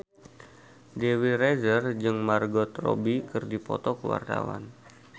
Dewi Rezer jeung Margot Robbie keur dipoto ku wartawan